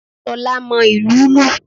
Solá mo ìlù ú lù